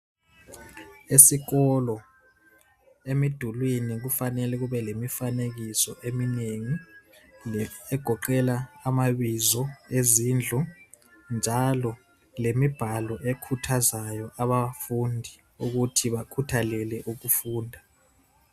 Esikolo emidulwini kufanele kube lemifanekiso eminengi egoqela amabizo lezindlu njalo lemibhalo ekhuthazayo abafundi ukuthi bakhuthalele ukufunda.